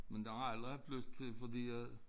Men det har jeg aldrig haft lyst til fordi jeg